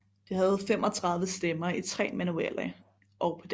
Det havde 35 stemmer i 3 manualer og pedal